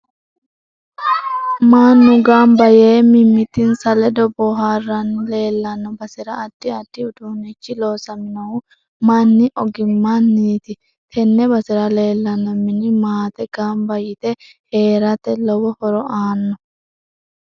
Manu ganba yee mimititinsa ledo booharanni leelanno basera addi addi uduunichi loosaminohu manni ogimaniiti tenne basera leelanno mini maate ganba yite heerate lowo horo aanno